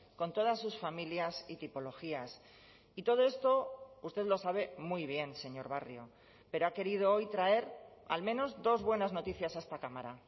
con todas sus familias y tipologías y todo esto usted lo sabe muy bien señor barrio pero ha querido hoy traer al menos dos buenas noticias a esta cámara